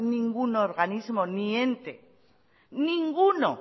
ningún organismo ni ente ninguno